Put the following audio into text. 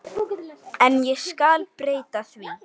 En ég skal breyta því.